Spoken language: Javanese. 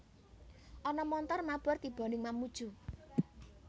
Ana montor mabur tibo ning Mamuju